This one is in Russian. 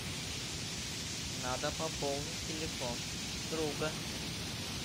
надо пополнить телефон друга